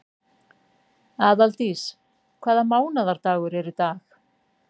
Aðaldís, hvaða mánaðardagur er í dag?